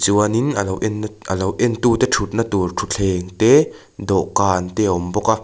chuanin a lo en a lo en tute thutna tur thutthleng te dawhkan te a awm bawk a.